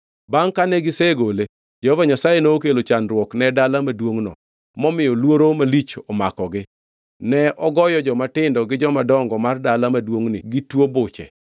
Bangʼ kane gisegole, Jehova Nyasaye nokelo chandruok ne dala maduongʼno momiyo luoro malich omakogi. Ne ogoyo jomatindo gi jomadongo mar dala maduongʼno gi tuo buche.